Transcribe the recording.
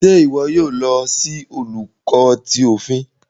Ṣe iwọ yoo lo si Olùkọ tí òfin?